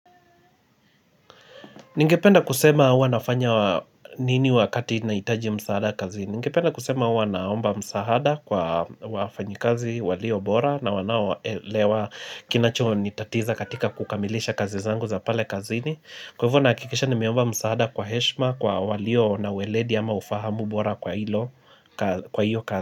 Ningependa kusema huwa nafanya nini wakati naitaji msaada kazini. Ningependa kusema huwa naomba msahada kwa wafanyikazi walio bora na wanaelewa kinacho nitatiza katika kukamilisha kazi zangu za pale kazini. Kwa hivyo nahakikisha nimeomba msaada kwa heshma kwa walio na ueledi ama ufahamu bora kwa hilo kwa hiyo kazi.